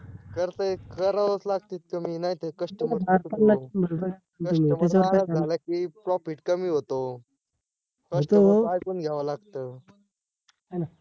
करतय करावच लागतय कमी नायतर customer customer नाराज झाला की profit कमी होतो customer च ऐकून घ्याव लागत है ना?